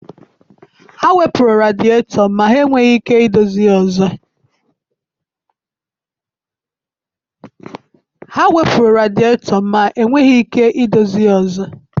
Ha wepụrụ radietọ ma enweghị ike idozi ya azụ.